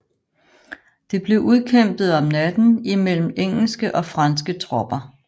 Det blev udkæmpet om natten imellem engelske og franske tropper